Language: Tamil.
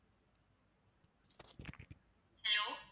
hello